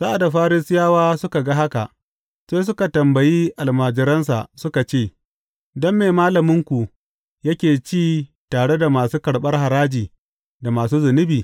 Sa’ad da Farisiyawa suka ga haka, sai suka tambayi almajiransa suka ce, Don me malaminku yake ci tare da masu karɓar haraji, da masu zunubi?